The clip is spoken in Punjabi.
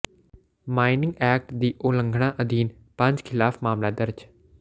ਮਾਈਨਿੰਗ ਐਕਟ ਦੀ ਉਲੰਘਣਾ ਅਧੀਨ ਪੰਜ ਖ਼ਿਲਾਫ਼ ਮਾਮਲਾ ਦਰਜ਼